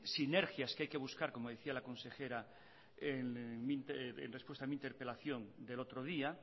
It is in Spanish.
sinergias que hay que buscar como decía la consejera en respuesta a mi interpelación del otro día